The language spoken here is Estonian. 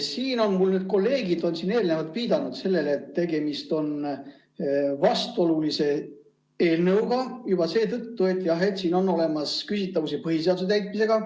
Siin kolleegid on eelnevalt viidanud sellele, et tegemist on vastuolulise eelnõuga juba seetõttu, et selles on küsitavusi põhiseaduse täitmisega.